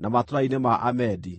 na matũũra-inĩ ma Amedi.